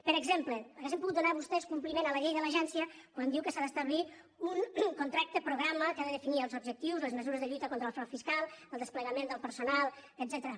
per exemple haurien pogut donar vostès compliment a la llei de l’agència quan diu que s’ha d’establir un contracte programa que n’ha de definir els objectius les mesures de lluita contra el frau fiscal el desplegament del personal etcètera